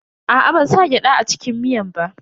Aa, ban sa gyada a cikin miyan ba.